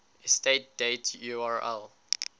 estate date url